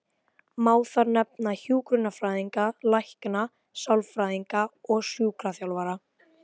Má þar nefna hjúkrunarfræðinga, lækna, sálfræðinga og sjúkraþjálfara.